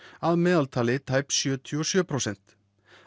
að meðaltali tæp sjötíu og sjö prósent